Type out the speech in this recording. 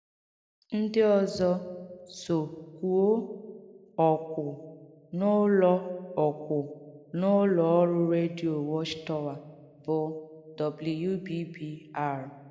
Ndị ọ̀zọ̀ sò kwūọ̀ ọ̀kwụ n’ụ́lọ̀ ọ̀kwụ n’ụ́lọ̀ ọ̀rụ́ rēdiō Watchtower bụ́ WBBR.